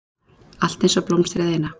Allt einsog blómstrið eina.